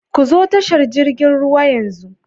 Ku zo tashar jirgin ruwa yanzu.